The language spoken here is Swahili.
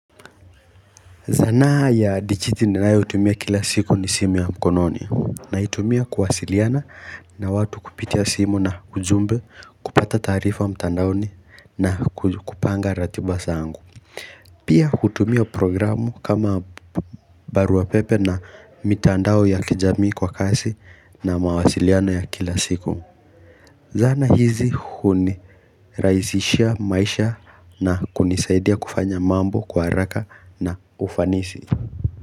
Zana ya dichiti ninayo tumia kila siku ni simu ya mkononi na itumia kuwasiliana na watu kupitia simu na ujumbe kupata tarifa mtandaoni na kupanga ratibasa angu. Pia hutumia programu kama baruapepe na mitandao ya kijami kwa kasi na mawasiliano ya kila siku. Zana hizi huni raisishia maisha na kunisaidia kufanya mambo kwa haraka na ufanisi.